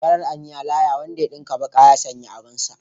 Farar aniya laya wanda ya dinka baka ya sanya abarsa.